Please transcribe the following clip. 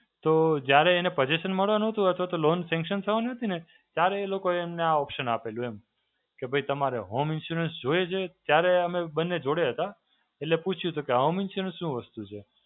તો જ્યારે એને Possession મળવાનો તો Loan Sanction થવાની હતી ને, ત્યારે એ લોકોએ અમને આ option આપેલું એમ. કે ભઇ તમારે Home Insurance જોઈએ છે. ત્યારે અમે બંને જોડે હતાં. એટલે પૂછ્યું, તો કે Home Insurance શું વસ્તુ છે?